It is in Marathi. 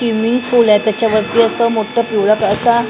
स्विमिंग पूल आहे त्याच्यावरती असं पिवळं असा--